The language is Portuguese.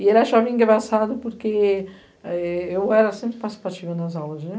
E ele achava engraçado porque eu era sempre participativa nas aulas, né?